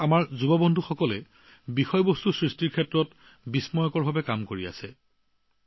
ভাৰতীয় যুৱকযুৱতীসকলে কণ্টেণ্ট ক্ৰিয়েচনত ডাঙৰ কাম কৰিছে